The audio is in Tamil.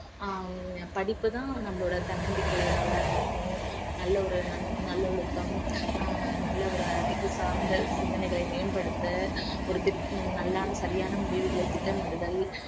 அஹ் படிப்பு தான் நம்மளோட தன்னம்பிக்கையை நல்லா வளர்க்கும் நல்ல ஒரு நல்லொழுக்கம் அஹ் நல்ல ஒரு அறிவு சார்ந்த சிந்தனைகளை மேம்படுத்த ஒரு திட்~ நல்லான சரியான முடிவுகளை திட்டமிடுதல்